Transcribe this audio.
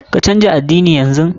Ka canja addini yanzu!